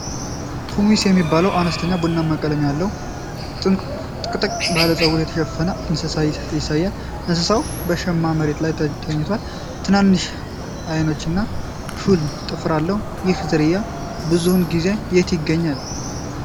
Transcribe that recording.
ፑሚስ የሚባለውን አነስተኛ፣ ቡናማ ቀለም ያለው፣ ጥቅጥቅ ባለ ፀጉር የተሸፈነ እንስሳ ያሳያል። እንስሳው በአሸዋማ መሬት ላይ ተኝቷል። ትናንሽ አይኖችና ሹል ጥፍር አለው። ይህ ዝርያ ብዙውን ጊዜ የት ይገኛል?